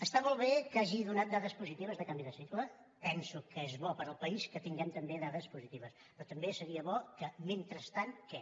està molt bé que hagi donat dades positives de canvi de cicle penso que és bo per al país que tinguem també dades positives però també seria bo que mentrestant què